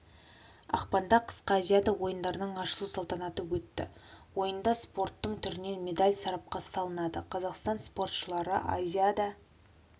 ақпанда қысқы азиада ойындарының ашылу салтанаты өтті ойында спорттың түрінен медаль сарапқа салынады қазақстан спортшылары азиада